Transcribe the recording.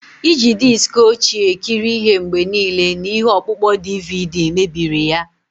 Iji diski ochie ekiri ihe mgbe niile na ihe ọkpụkpọ DVD mebiri ya.